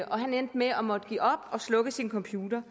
han endte med at måtte give op og slukke sin computer